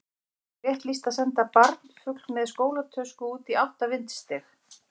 Er fólki rétt lýst að senda barnfugl með skólatösku út í átta vindstig?